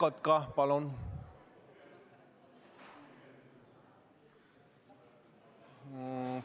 Siret Kotka, palun!